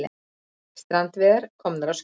Strandveiðar komnar á skrið